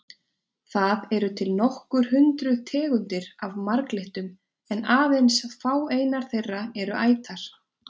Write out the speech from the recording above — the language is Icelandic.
Það eru til nokkur hundruð tegundir af marglyttum en aðeins fáeinar þeirra eru ætar.